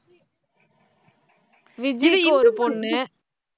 விஜீக்கு ஒரு பொண்ணு